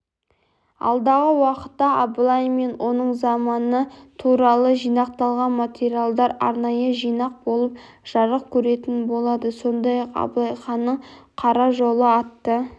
алдағы уақытта абылай мен оның заманы туралы жинақталған материалдар арнайы жинақ болып жарық көретін болады сондай-ақ абылай ханның қара жолы атты